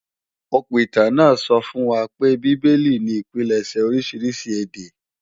Òpìtàn náà sọ fún wa pé Bábélì ni ìpilẹ̀ṣẹ̀ oríṣiríṣi èdè